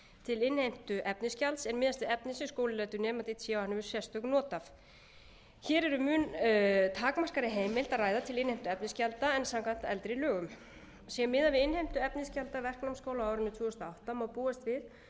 til innheimtu efnisgjalds er miðast við efni sem skóli lætur nemanda í té og hann hefur sérstök not af hér er um mun takmarkaðri heimild að ráð til innheimtu efnisgjalda en samkvæmt eldri lögum sé miðað við innheimtu efnisgjalda verknámsskóla á árinu tvö þúsund og átta má búast við